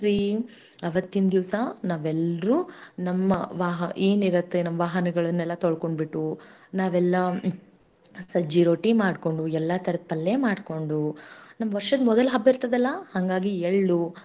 ಅವತ್ತಿನ ದಿವಸಾ ನಾವೆಲ್ಲರೂ ನಮ್ಮ ವಾಹನಗಳನ್ನು ಏನಿರತ್ತೆ ಎಲ್ಲಾ ತೊಳ್ಕೊಂಡ ಬಿಟ್ಟು ನಾವೆಲ್ಲ ಸಜ್ಜಿ ರೊಟ್ಟಿ ಮಾಡ್ಕೊಂಡು ಎಲ್ಲ ತರದ ಪಲ್ಲೆಮಾಡಿಕೊಂಡು ನಮ್ಮ ವರ್ಷದಮೊದಲನೇ ಹಬ್ಬ ಇರ್ತದಲ್ಲ ಹಾಂಗಾಗಿ ಎಳ್ಳು.